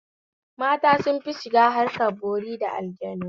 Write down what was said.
Mata sunfi shiga harkan bori da aljannu